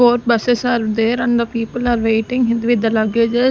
four buses are there and the people are waiting it with the luggages.